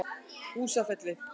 Húsafelli